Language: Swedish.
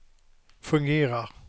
fungerar